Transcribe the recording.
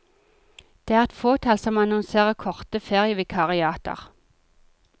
Det er et fåtall som annonserer korte ferievikariater.